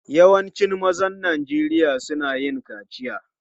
Yawancin mazan Najeriya suna yin kaciya.